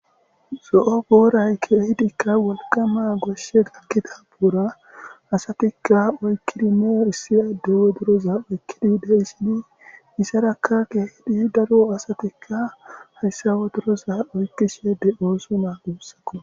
so7o gooraykkeehidikka wolqama goshe gaggida buura asatikka oykkidi neo issi adde woduroza oykkidi udeissini isarakka geehidi daro asatikka hayssa woduroza oykkishede oosuma uussako